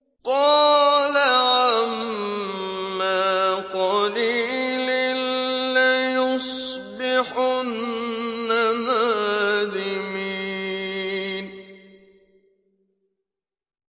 قَالَ عَمَّا قَلِيلٍ لَّيُصْبِحُنَّ نَادِمِينَ